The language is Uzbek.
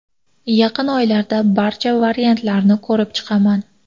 Yaqin oylarda barcha variantlarni ko‘rib chiqaman.